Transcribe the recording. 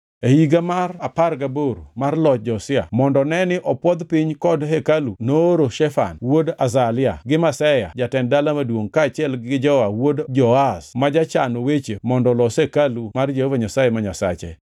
E higa mar apar gaboro mar loch Josia mondo neni opwodh piny kod hekalu nooro Shafan wuod Azalia gi Maseya jatend dala maduongʼ kaachiel gi Joa wuod Joahaz ma jachan weche mondo olos hekalu mar Jehova Nyasaye ma Nyasache.